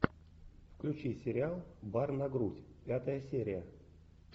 включи сериал бар на грудь пятая серия